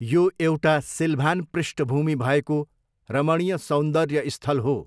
यो एउटा सिल्भान पृष्ठभूमि भएको रमणीय सौन्दर्य स्थल हो।